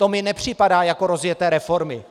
To mi nepřipadá jako rozjeté reformy.